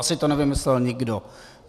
Asi to nevymyslel nikdo.